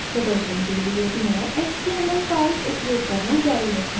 प्रदर्शन के लिए मैं html files उपयोग करना जारी रखूँगी